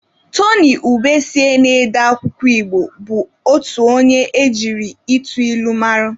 Tony Ubesie na-ede akwụkwọ Igbo bụ otu onye e jiri ịtụ ilu mara.